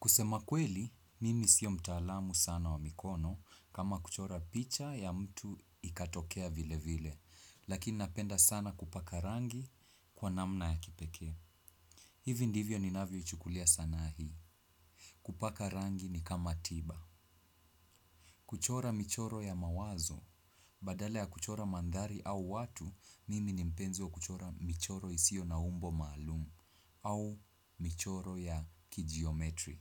Kusema kweli, mimi sio mtaalamu sana wa mikono kama kuchora picha ya mtu ikatokea vile vile, lakini napenda sana kupaka rangi kwa namna ya kipekee. Hivi ndivyo ni navyo ichukulia sanaa hii. Kupaka rangi ni kama tiba. Kuchora michoro ya mawazo, badala ya kuchora mandhari au watu, mimi ni mpenzi kuchora michoro isio na umbo maalumu au michoro ya kijiometri.